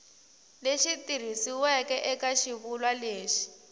lexi tikisiweke eka xivulwa lexi